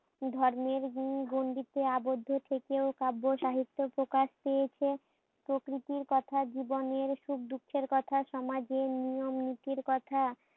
ধর্মের গুন্ গুন্ডিত আবদ্ধ থেকেও কাব্য সাহিত্য প্রকাশ পেয়েছে প্রকৃতির কথা জীবনের সুখ দুঃখের কথা সমাজের নিয়ম নীতির কথা।